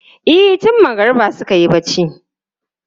E, tun magariba suka yi barci.